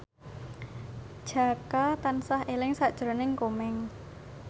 Jaka tansah eling sakjroning Komeng